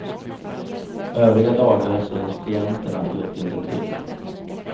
Övriga dagar syns klienterna just inte till.